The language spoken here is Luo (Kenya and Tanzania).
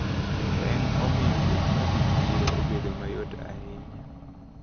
Peng` omiyo wuoth madhi chiro obedo mayot ahinya.